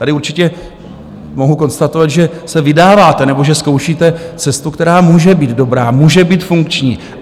Tady určitě mohu konstatovat, že se vydáváte nebo že zkoušíte cestu, která může být dobrá, může být funkční.